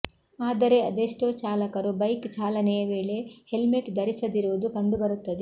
ಆದರೆ ಅದೆಷ್ಟೋ ಚಾಲಕರು ಬೈಕ್ ಚಾಲನೆಯ ವೇಳೆ ಹೆಲ್ಮೆಟ್ ಧರಿಸದಿರುವುದು ಕಂಡುಬರುತ್ತದೆ